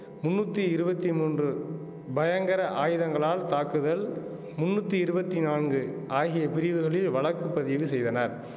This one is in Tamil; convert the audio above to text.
முன்னுத்தி இருபத்தி மூன்று பயங்கர ஆயுதங்களால் தாக்குதல் முந்நூத்தி இருவத்தி நான்கு ஆகிய பிரிவுகளில் வழக்கு பதிவு செய்தனர்